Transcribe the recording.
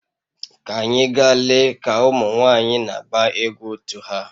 Ka anyị gaa lee ka ụmụ nwanyị na-agba egwu otu ha